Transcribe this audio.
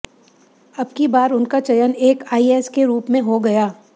अबकी बार उनका चयन एक आईएस के रूप में हो गया